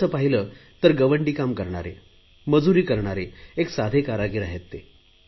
तसे पाहिले तर गंवडीकाम करणारे मजुरी करणारे एक साधे कारागीर आहेत ते